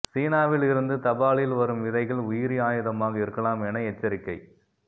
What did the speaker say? சீனாவில் இருந்து தபாலில் வரும் விதைகள் உயிரி ஆயுதமாக இருக்கலாம் என எச்சரிக்கை